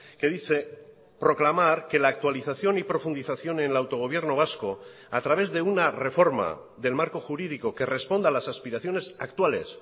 que dice proclamar que la actualización y profundización en el autogobierno vasco a través de una reforma del marco jurídico que responda a las aspiraciones actuales